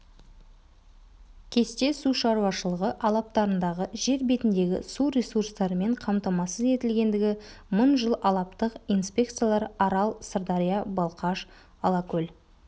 кесте су шаруашылығы алаптарындағы жер бетіндегі су ресурстарымен қамтамасыз етілгендігі мың жыл алабтық инспекциялар арал-сырдария балқаш-алакөл